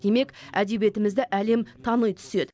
демек әдебиетімізді әлем тани түседі